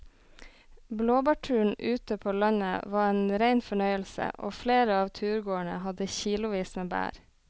Blåbærturen ute på landet var en rein fornøyelse og flere av turgåerene hadde kilosvis med bær.